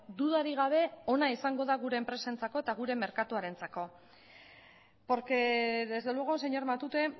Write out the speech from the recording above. dudarik gabe ona izango da gure enpresentzako eta gure merkatuarentzako porque desde luego señor matute